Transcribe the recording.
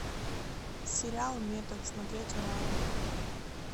сериал метод смотреть онлайн